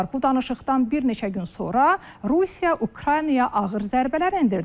Bu danışıqdan bir neçə gün sonra Rusiya Ukraynaya ağır zərbələr endirdi.